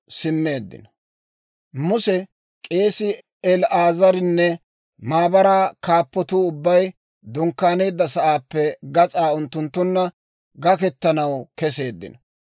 Muse, k'eesii El"aazarinne maabaraa kaappatuu ubbay dunkkaaneedda sa'aappe gas'aa unttunttunna gakkettanaw keseeddino.